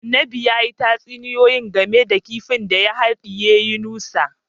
Annabin ya yi tatsuniyoyi game da kifin da ya hadiye Yunusa